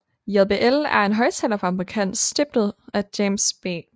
JBL er en højttalerfabrikant stiftet af James B